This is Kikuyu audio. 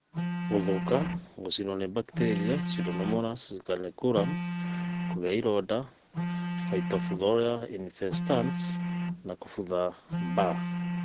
Gũthũka, gũcinwo nĩ bakteria(pseudomonas scalancearum),kũgĩa ironda(phytophthorainfestans) na kũbutha (BER)